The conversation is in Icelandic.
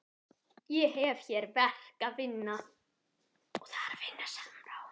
Ég hef hér verk að vinna.